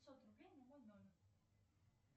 пятьсот рублей на мой номер